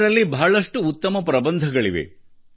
ಇದರಲ್ಲಿ ಬಹಳಷ್ಟು ಉತ್ತಮ ಪ್ರಬಂಧಗಳಿವೆ